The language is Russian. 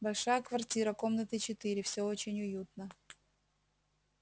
большая квартира комнаты четыре все очень уютно